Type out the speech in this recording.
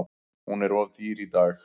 Hún er of dýr í dag.